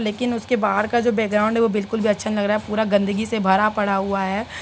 लेकिन उसके बाहर का जो बैकग्राउण्ड है वो बिल्कुल भी अच्छा नही लग रहा है पूरा गंदगी से भरा पड़ा हुआ है।